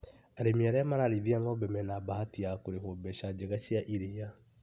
Arĩmi arĩa mararĩithia ng'ombe mena bahati ya kurĩhwo mbeca njega cia iria.